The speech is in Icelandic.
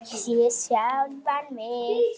Sé sjálfan mig.